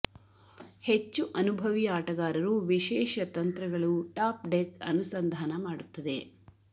ಹೆಚ್ಚು ಅನುಭವಿ ಆಟಗಾರರು ವಿಶೇಷ ತಂತ್ರಗಳು ಟಾಪ್ ಡೆಕ್ ಅನುಸಂಧಾನ ಮಾಡುತ್ತದೆ